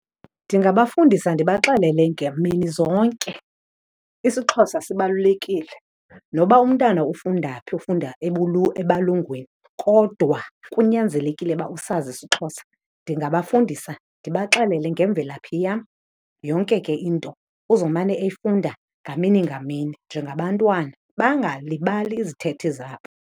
Ndingabafundisa ndibaxelele ngamini zonke isiXhosa sibalulekile. Noba umntana ufunda phi ufunda ebalungwini kodwa kunyanzelekile uba usazi siXhosa. Ndingabafundisa ndibaxelele ngemvelaphi yam, yonke ke into uzomane eyifunda ngamini ngamini njengabantwana, bangalibali izithethe zabo.